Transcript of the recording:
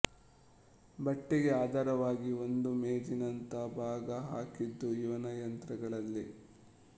ಬಟ್ಟೆಗೆ ಆಧಾರವಾಗಿ ಒಂದು ಮೇಜಿನಂಥ ಭಾಗ ಹಾಕಿದ್ದು ಇವನ ಯಂತ್ರಗಳಲ್ಲೇ